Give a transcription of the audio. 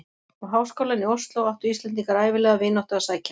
Og í háskólann í Osló áttu Íslendingar ævinlega vináttu að sækja.